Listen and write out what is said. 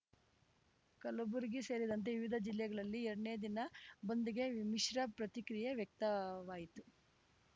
ಕಲಬುರಗಿ ಸೇರಿದಂತೆ ವಿವಿಧ ಜಿಲ್ಲೆಗಳಲ್ಲಿ ಎರಡನೇ ದಿನ ಬಂದ್‌ಗೆ ಮಿಶ್ರ ಪ್ರತಿಕ್ರಿಯೆ ವ್ಯಕ್ತವಾಯಿತು